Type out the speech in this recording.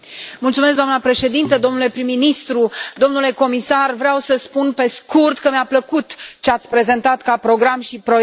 Doamnă președinte, domnule prim ministru, domnule comisar, vreau să spun, pe scurt, că mi a plăcut ce ați prezentat ca program și proiect.